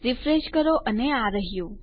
refresh કરો અને આ રહ્યું